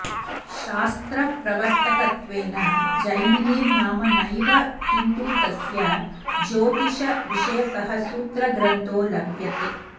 शास्त्रप्रवर्तकत्वेन जैमिनेर्नाम नैव किन्तु तस्य ज्योतिषविषयकः सूत्रग्रन्थो लभ्यते